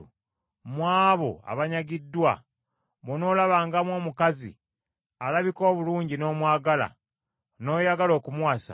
mu abo abanyagiddwa bw’onoolabangamu omukazi alabika obulungi n’omwagala, n’oyagala okumuwasa,